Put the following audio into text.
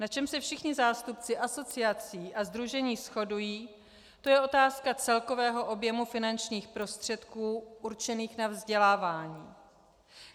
Na čem se všichni zástupci asociací a sdružení shodují, to je otázka celkového objemu finančních prostředků určených na vzdělávání.